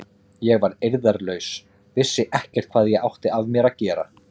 Ég var eirðarlaus, vissi ekkert hvað ég átti af mér að gera.